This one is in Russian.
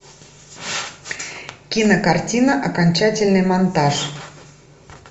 кинокартина окончательный монтаж